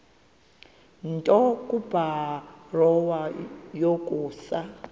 nto kubarrow yokusa